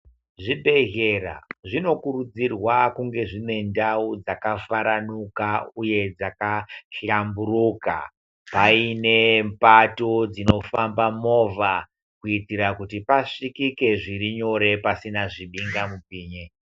Zvibhedhlera zvinokurudzirwa kunge zvine ndau dzakafarunaka uye dzakahlamburuka kuva ine mipato inofamba movha kuita kuti pasvikike zviri nyore pasina zvidinga mupini.